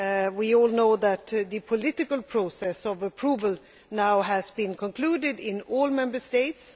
We all know that the political process of approval has now been concluded in all Member States.